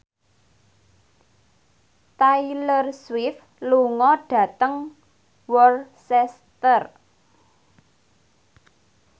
Taylor Swift lunga dhateng Worcester